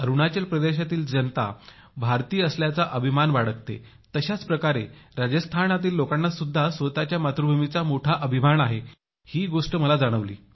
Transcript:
अरुणाचल प्रदेशातील जनता भारतीय असल्याचा अभिमान बाळगतात तशाच प्रकारे राजस्थानातील लोकांना सुद्धा स्वतःच्या मातृभूमीचा मोठा अभिमान आहे ही गोष्ट मला फार जाणवली